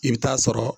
I bɛ taa sɔrɔ